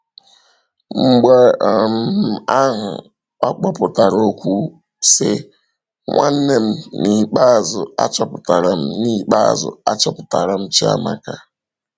Mgbe um ahụ ọ kpọpụtara okwu sị: “Nwanne m, n’ikpeazụ achọpụtara m n’ikpeazụ achọpụtara m Chiamaka!”